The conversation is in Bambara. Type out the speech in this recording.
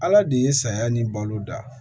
Ala de ye saya ni balo dan